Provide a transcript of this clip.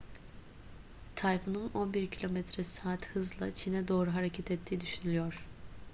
tayfunun 11 km/saat hızla çin'e doğru hareket ettiği düşünülüyor